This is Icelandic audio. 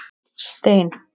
Stein